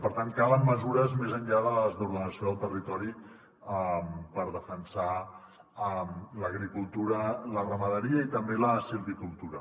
per tant calen mesures més enllà de les d’ordenació del territori per defensar l’agricultura la ramaderia i també la silvicultura